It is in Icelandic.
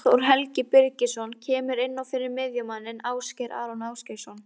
Eyþór Helgi Birgisson kemur inn á fyrir miðjumanninn Ásgeir Aron Ásgeirsson.